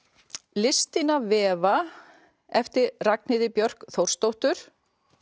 listin að vefa eftir Ragnheiði Björk Þórsdóttur